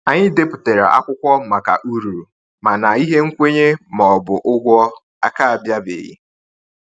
Anyị depụtara akwụkwọ maka uru, mana ihe nkwenye ma ọ bụ ụgwọ a ka bịabeghị.